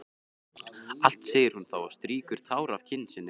Allt, segir hún þá og strýkur tár af kinn sinni.